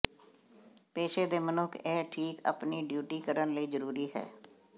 ਪੇਸ਼ੇ ਦੇ ਮਨੁੱਖ ਇਹ ਠੀਕ ਆਪਣੀ ਡਿਊਟੀ ਕਰਨ ਲਈ ਜ਼ਰੂਰੀ ਹੈ